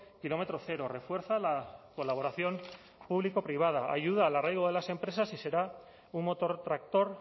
kilómetro cero refuerza la colaboración público privada ayuda al arraigo de las empresas y será un motor tractor